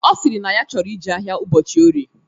Ọ sịrị na ọ chọrọ ije ahịa ụbọchị orie